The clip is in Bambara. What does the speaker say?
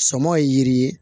Sɔmɔ ye yiri ye